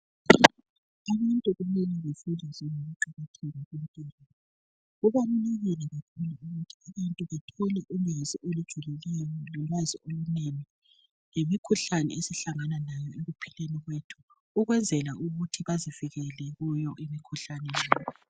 Kubalulekile ukuthi bathole ulwazi olujulileyo kumbe ulwazi okunengi ngemikhuhlane esihlangane layo ekuphileni kwethu, kwenzela ukuthi bezivikele kuyo imikhuhlane leyo.